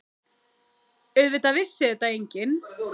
Auðvitað vissi þetta enginn.